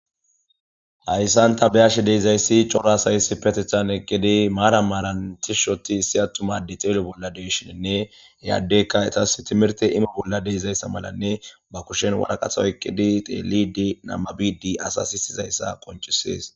Hayisan ta be'ashe dizayis coora asay issipetethan eqidi Marian Marian tishi othi issi atuma ade xelo bolla de'ishenee he adeyka etas timirite imo bolla deizaysa malanee ba wariqata oyikidi xelid nababid asa si'isidaysa qonicises